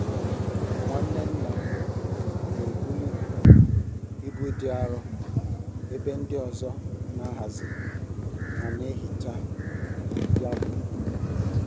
Nwanne nna m n'ebuli ibu dị arọ ebe ndị ọzọ n'ahazi ma n'ehicha ya gburugburu.